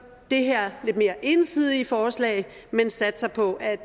det her lidt mere ensidige forslag men satser på at